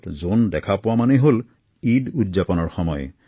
আকাশত জোনবাই প্ৰত্যক্ষ কৰা মানেই পবিত্ৰ ঈদৰ আগমণ